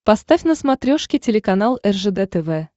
поставь на смотрешке телеканал ржд тв